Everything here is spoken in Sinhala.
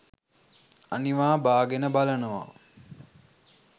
අනිවා බාගෙන බලනවා.